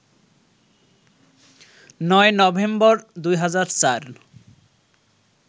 ৯ November, ২০০৪